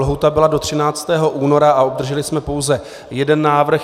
Lhůta byla do 13. února a obdrželi jsme pouze jeden návrh.